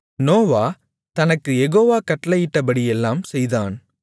நோவா தனக்குக் யெகோவா கட்டளையிட்டபடியெல்லாம் செய்தான்